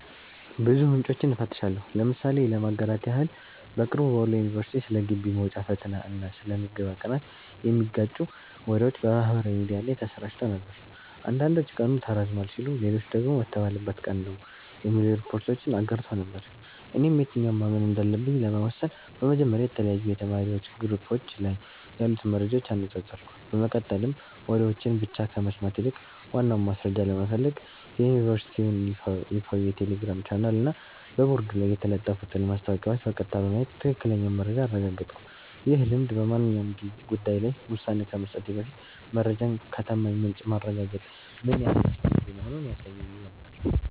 ብዙ ምንጮችን እፈትሻለሁ። ምሳሌ ለማጋራት ያህል፦ በቅርቡ በወሎ ዩኒቨርሲቲ ስለ ግቢ መውጫ ፈተና እና ስለ ምዝገባ ቀናት የሚጋጩ ወሬዎች በማህበራዊ ሚዲያ ላይ ተሰራጭተው ነበር። አንዳንዶች ቀኑ ተራዝሟል ሲሉ፣ ሌሎች ደግሞ በተባለበት ቀን ነው የሚሉ ሪፖርቶችን አጋርተው ነበር። እኔም የትኛውን ማመን እንዳለብኝ ለመወሰን በመጀመሪያ የተለያዩ የተማሪዎች ግሩፖች ላይ ያሉትን መረጃዎች አነጻጸርኩ፤ በመቀጠልም ወሬዎችን ብቻ ከመስማት ይልቅ ዋናውን ማስረጃ ለመፈለግ የዩኒቨርሲቲውን ይፋዊ የቴሌግራም ቻናልና በቦርድ ላይ የተለጠፉትን ማስታወቂያዎች በቀጥታ በማየት ትክክለኛውን መረጃ አረጋገጥኩ። ይህ ልምድ በማንኛውም ጉዳይ ላይ ውሳኔ ከመስጠቴ በፊት መረጃን ከታማኝ ምንጭ ማረጋገጥ ምን ያህል አስፈላጊ መሆኑን ያሳየኝ ነበር።